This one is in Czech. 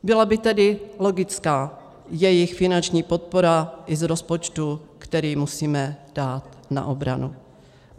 Byla by tedy logická jejich finanční podpora i z rozpočtu, který musíme dát na obranu.